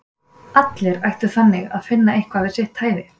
allir ættu þannig að finna eitthvað við sitt hæfi!